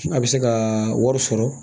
A bɛ se ka wari sɔrɔ